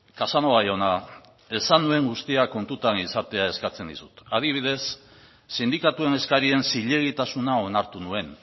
casanova jauna esan nuen guztia kontutan izatea eskatzen dizut adibidez sindikatuen eskarien zilegitasuna onartu nuen